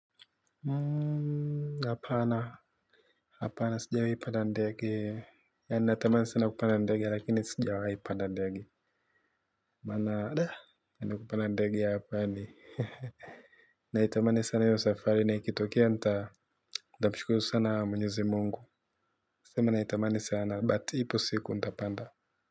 Hapana hapana sijawahi panda ndege na nina tamani sana kupanda ndege lakini sijawahi panda ndege mana daa ya ni kupanda ndege ya hapa ni hehehe na itamani sana hio safari na ikitokea nita nitamshukuru sana mwenyezi mungu nasema naitamani sana but ipo siku nitapanda.